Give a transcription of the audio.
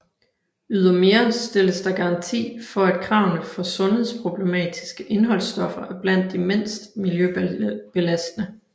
Ydermere stille der garanti for at kravene for sundhedsproblematiske indholdstoffer er blandt de mindst miljøbelastende